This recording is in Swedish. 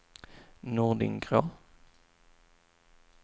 Nordingrå